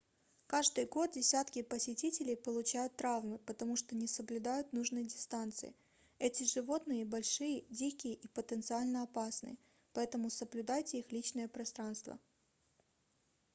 каждый год десятки посетителей получают травмы потому что не соблюдают нужной дистанции эти животные большие дикие и потенциально опасные поэтому соблюдайте их личное пространство